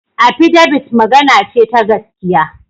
Affidabit magana ce ta gaskiya.